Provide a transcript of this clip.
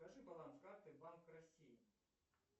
скажи баланс карты банк россии